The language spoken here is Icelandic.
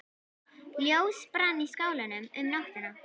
Ljós brann í skálanum um nóttina.